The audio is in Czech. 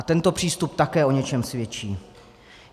A tento přístup také o něčem svědčí.